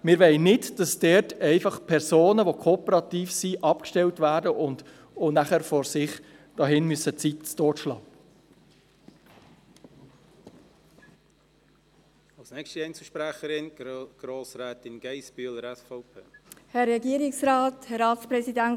Wir wollen nicht, dass dort Personen, die kooperativ sind, abgestellt werden und nachher in Prêles die Zeit totschlagen müssen.